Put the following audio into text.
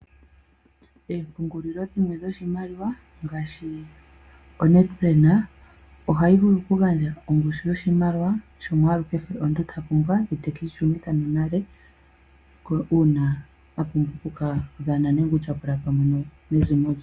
Oompungulilo dhimwe dhoshimaliwa ngaashi oNedBank ohayi vulu kugandja ongushu yoshimaliwa shomwaalu kehe omuntu ta pumbwa ete keshi shunitha nale uuna apumbwa okutyapula pamwe nezimo lye.